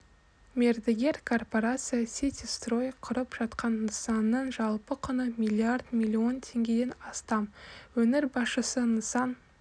мердігер корпорация сити строй құрып жатқан нысанның жалпы құны миллиард миллион теңгеден астам өңір басшысы нысан